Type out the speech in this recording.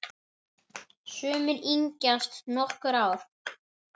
Sumir yngjast um nokkur ár.